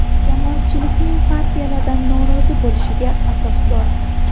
Jamoatchilikning partiyalardan norozi bo‘lishiga asos bor.